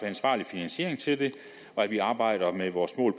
ansvarlig finansiering til det og at vi arbejder med vores mål